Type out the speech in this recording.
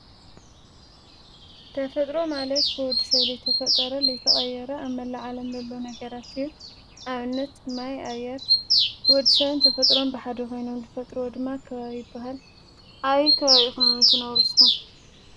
ተፈጥሮ ማለት ብወዲ ሰብ ዘይተፈጠረ ዘይተቀየረ ኣብ መላእ ዓለም ዘሎ ነገራት እዩ። ንኣብነት ማይ፣ ኣየር ወዲሰብን ተፈጥሮን ብሓደ ኮይኖም ዝፈጥርዎም ድማ ከባቢ ይባሃል። ኣበይ ከባቢ ኢኩም ትነብሩ ንስኩም?